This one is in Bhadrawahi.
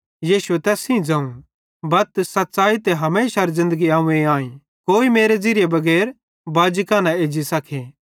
यीशुए तैस सेइं ज़ोवं बत सच़्च़ी ते हमेशारी ज़िन्दगी अव्वें आईं कोई मेरे ज़िरियेरे बगैर बाजी कां न एज्जी सके